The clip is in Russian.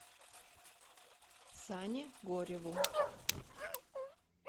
сане гореву